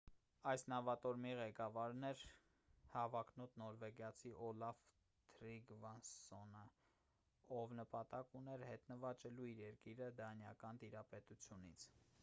այս նավատորմի ղեկավարն էր հավակնոտ նորվեգացի օլաֆ թրիգվասսոնը ով նպատակ ուներ հետ նվաճելու իր երկիրը դանիական տիրապետությունից